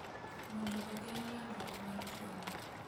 mondo ogeng’ landruok mar tuo no.